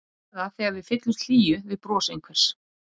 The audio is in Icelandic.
Eða þegar við fyllumst hlýju við bros einhvers.